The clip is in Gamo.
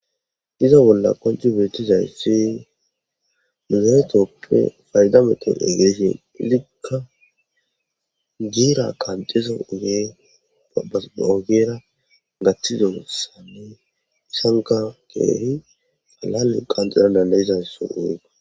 iza bolla qonc beetizaysi mizatappe fayda meto egeleshin izikka giira qanxiza ugee a ogera gaththizossane isanka keeri alale qanxirana leizasso eega